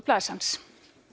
myndasögublaðs hans